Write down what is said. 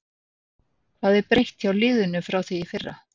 Hvað er breytt hjá liðinu frá því í fyrra?